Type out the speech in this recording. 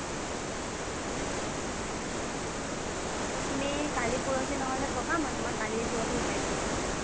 তুমি কালি পৰহি নহলে কবা মই তুমাক কালিয়ে পৰখি শিকাই দিব পাৰো